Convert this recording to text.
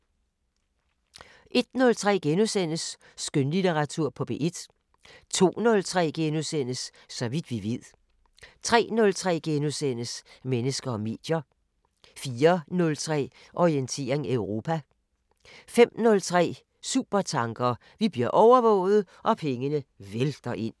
01:03: Skønlitteratur på P1 * 02:03: Så vidt vi ved * 03:03: Mennesker og medier * 04:03: Orientering Europa 05:03: Supertanker: Vi bliver overvåget – og pengene vælter ind